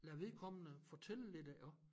Lad vedkommende fortælle lidt af også